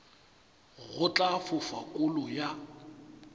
go tla fofa kolo ya